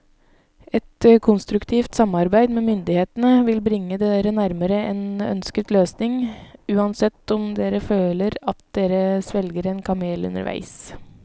Et konstruktivt samarbeid med myndighetene vil bringe dere nærmere en ønsket løsning, uansett om dere føler at dere svelger en kamel underveis.